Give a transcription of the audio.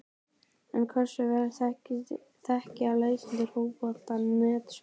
En hversu vel þekkja lesendur Fótbolta.net stjórana?